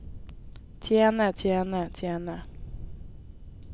tjene tjene tjene